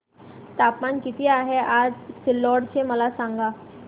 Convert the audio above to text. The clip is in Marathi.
तापमान किती आहे आज सिल्लोड चे मला सांगा